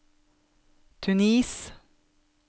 Tunis